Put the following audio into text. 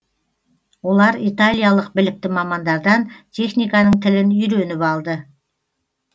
олар италиялық білікті мамандардан техниканың тілін үйреніп алды